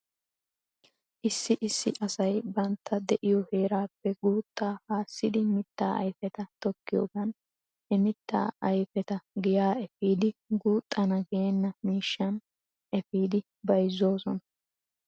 Issi issi asay bantta de'iyoo heerappe guuttaa haasidi mittaa ayfeta tokkiyoogan he mitta ayfeta viyaa efidi guuxxana veena miishshan efidi bazzoosona.